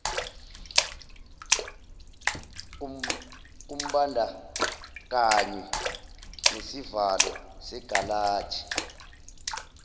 kumbandakanywa nesivalo segalaji